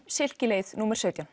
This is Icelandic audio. silki leið númer sautján